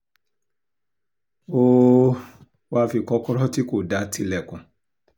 ó um wáá fi kọ́kọ́rọ́ tí kò dáa tilẹ̀kùn